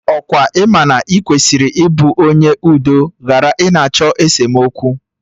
Ọkwa ị ma na ị kwesịrị ị bụ onye udo ghara ị na-achọ esemokwu?